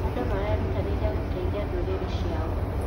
Andũ marerutanĩria gũteithia ndũrĩrĩ ciao.